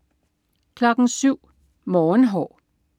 07.00 Morgenhår